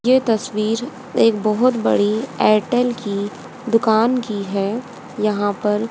यह तस्वीर एक बहुत बड़े एयरटेल के दुकान की है यह पर--